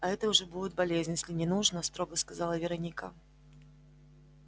а это уже будет болезнь если не нужно строго сказала вероника